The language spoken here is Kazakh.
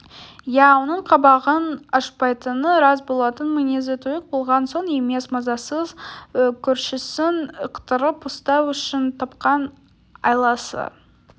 иә оның қабағын ашпайтыны рас болатын мінезі тұйық болған соң емес мазасыз көршісін ықтырып ұстау үшін тапқан айласы